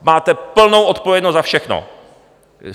Máte plnou odpovědnost za všechno.